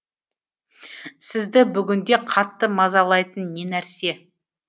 сізді бүгінде қатты мазалайтын не нәрсе